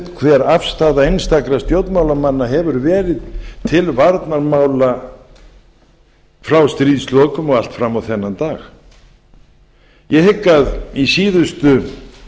hver afstaða einstakra stjórnmálamanna hefur verið til varnarmála frá stríðslokum og allt fram á þennan dag ég hygg að í síðustu